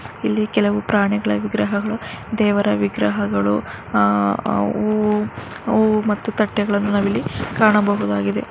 ಇಲ್ಲಿ ಕೆಲವು ಪ್ರಾಣಿ ವಿಗ್ರಹಗಳು ದೇವರ ವಿಗ್ರಹಗಳು ತಟ್ಟೆಗಳನ್ನು ಸಹ ಕಾಣಬಹುದಾಗಿದೆ.